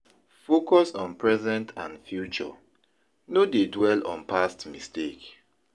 Focus on present and future, no dey dwell on past mistake.